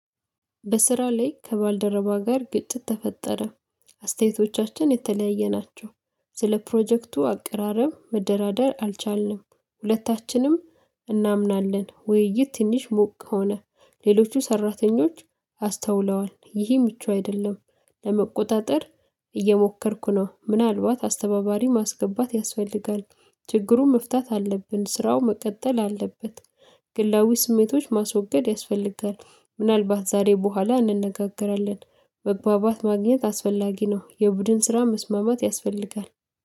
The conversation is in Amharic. በስራ ላይ ከባልደረባ ጋር ግጭት ተፈጠረ። አስተያየቶቻችን የተለያየ ናቸው። ስለ ፕሮጀክቱ አቀራረብ መደራደር አልቻልንም። ሁለታችንም እናምናለን ውይይት ትንሽ ሞቅ ሆነ። ሌሎቹ ሰራተኞች አስተውለዋል ይህ ምቹ አይደለም። ለመቆጣጠር እየሞከርኩ ነው ምናልባት አስተባባሪ ማስገባት ያስፈልጋል። ችግሩን መፍታት አለብን ስራው መቀጠል አለበት። ግላዊ ስሜቶች ማስወገድ ያስፈልጋል ምናልባት ዛሬ በኋላ እንነጋገራለን። መግባባት ማግኘት አስፈላጊ ነው። የቡድን ስራ መስማማት ያስፈልጋል